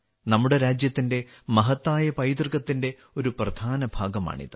നമ്മുടെ രാജ്യത്തിന്റെ മഹത്തായ പൈതൃകത്തിന്റെ ഒരു പ്രധാന ഭാഗമാണിത്